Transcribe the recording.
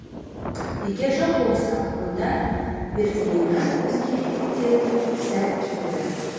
егер жоқ болса онда бірдеңені өзгертетін сәт келді